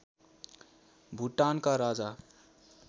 भुटानका राजा